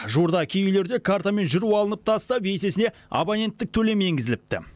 жуырда кей үйлерде картамен жүру алынып тастап есесіне абоненттік төлем енгізіліпті